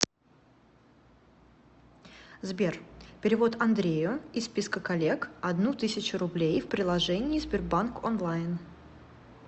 сбер перевод андрею из списка коллег одну тысячу рублей в приложении сбербанк онлайн